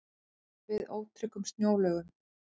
Varað við ótryggum snjóalögum